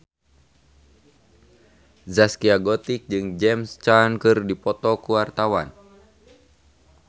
Zaskia Gotik jeung James Caan keur dipoto ku wartawan